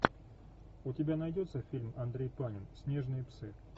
у тебя найдется фильм андрей панин снежные псы